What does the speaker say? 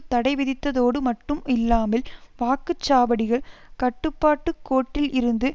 தடைவிதித்ததோடு மட்டும் இல்லாமல் வாக்கு சாவடிகள் கட்டுப்பாட்டு கோட்டில் இருந்து